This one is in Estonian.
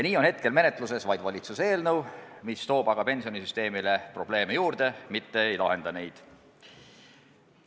Nii on praegu menetluses vaid valitsuse eelnõu, mis toob aga pensionisüsteemile probleeme juurde, mitte ei lahenda neid.